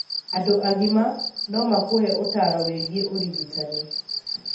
Andũ agima no makũhe ũtaaro wĩgiĩ ũrigitani.